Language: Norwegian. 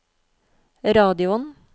radioen